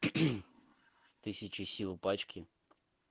тысяча сил пачки